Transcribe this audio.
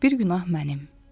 bir günah mənim.